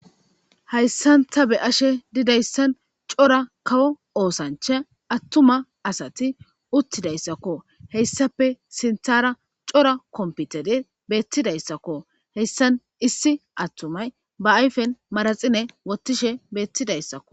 Hayssanta be ashe didayssan cora kawo oosancha attuma asati uttidayssakko heyssape sinthara cora kompitede beettidayssakko heyssan issi attumay ba ayfen maraxine wottishe beettidayssakko.